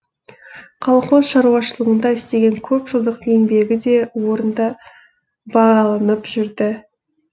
колхоз шаруашылығында істеген көп жылдық еңбегі де орынды бағаланып жүрді